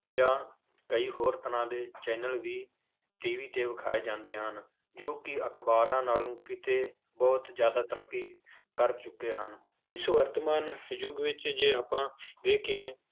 ਜਾਂ ਕਈ ਹੋਰ ਤਰ੍ਹਾਂ ਦੇ channel ਵੀ TV ਤੇ ਵਿਖਾਏ ਜਾਂਦੇ ਹਨ, ਜੋ ਕਿ ਅਖ਼ਬਾਰਾਂ ਨਾਲੋਂ ਕਿਤੇ ਬਹੁਤ ਜ਼ਿਆਦਾ ਤਰੱਕੀ ਕਰ ਚੁੱਕੇ ਹਨ, ਇਸ ਵਰਤਮਾਨ ਯੁੱਗ ਵਿੱਚ ਜੇ ਆਪਾਂ ਵੇਖੀਏ